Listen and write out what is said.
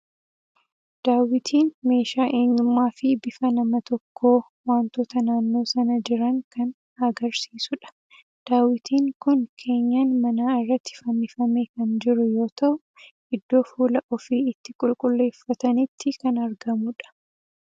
Daawwitiin meeshaa eenyummaa fi bifa nama tokkoo, wantoota naannoo sana jiran kan agarsiisudha. Daawwitiin kun keenyan manaa irratti fannifamee kan jiru yoo ta'u, iddoo fuula ofii itti qulqulluuffatanitti kan argamudha.